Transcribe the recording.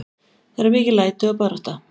Það eru mikil læti og barátta.